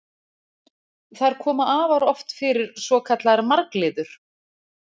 Þar koma afar oft fyrir svokallaðar margliður.